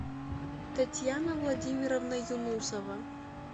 татьяна владимировна юнусова